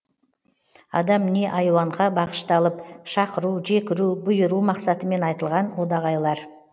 адам не айуанға бағышталып шақыру жекіру бұйыру мақсатымен айтылған одағайлар